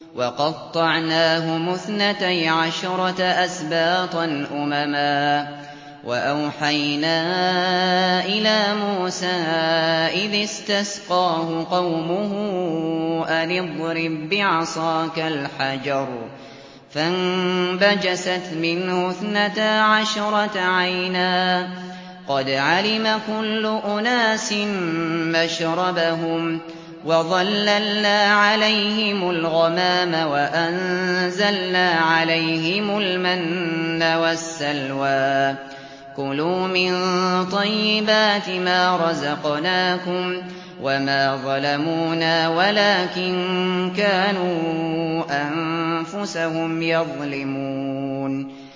وَقَطَّعْنَاهُمُ اثْنَتَيْ عَشْرَةَ أَسْبَاطًا أُمَمًا ۚ وَأَوْحَيْنَا إِلَىٰ مُوسَىٰ إِذِ اسْتَسْقَاهُ قَوْمُهُ أَنِ اضْرِب بِّعَصَاكَ الْحَجَرَ ۖ فَانبَجَسَتْ مِنْهُ اثْنَتَا عَشْرَةَ عَيْنًا ۖ قَدْ عَلِمَ كُلُّ أُنَاسٍ مَّشْرَبَهُمْ ۚ وَظَلَّلْنَا عَلَيْهِمُ الْغَمَامَ وَأَنزَلْنَا عَلَيْهِمُ الْمَنَّ وَالسَّلْوَىٰ ۖ كُلُوا مِن طَيِّبَاتِ مَا رَزَقْنَاكُمْ ۚ وَمَا ظَلَمُونَا وَلَٰكِن كَانُوا أَنفُسَهُمْ يَظْلِمُونَ